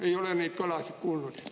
Ei ole neid kõlasid kuulnud.